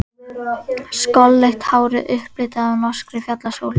Skolleitt hárið upplitað af norskri fjallasól.